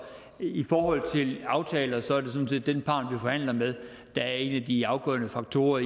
i forhold til aftaler er det sådan set den part vi forhandler med der er en af de afgørende faktorer